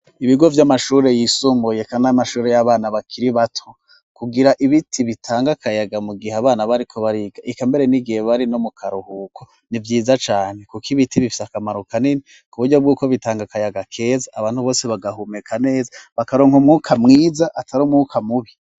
Ibigo vy'amashuri yisumuye kan amashuri y'abana bakiri bato kugira ibiti bitanga kayaga mu gihe abana bariko bariga ikamere n'igihe bari no mu karuhuko ni byiza cane kuko ibiti bifite akamaro kanini ku buryo bw'uko bitanga kayaga keza abantu bose bagahumeka neza bakaronka umwuka mwiza atari umwuka mubi.